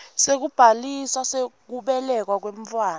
sekubhalisa kubelekwa kwemntfwana